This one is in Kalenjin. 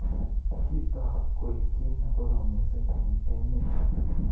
Kiotok koeku ki nekorom missing eng emet.